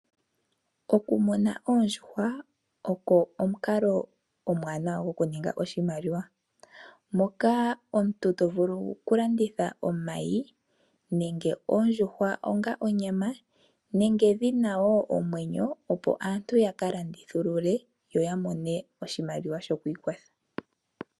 Okumuna oondjuhwa oko omukalo omwaanawa goku ninga oshimaliwa moka omuntu to vulu oku landitha omayi nenge ondjuhwa onga onyama nenge dhina wo omwenyo, opo aantu ya ka landithulule go ya mone oshimaliwa sho kwiikwatha.